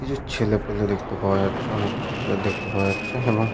কিছু ছেলেপেলে দেখতে পাওয়া যাচ্ছে। অনেক ছেলে দেখতে পাওয়া যাচ্ছে এবং --